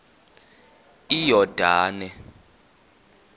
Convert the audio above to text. iyordane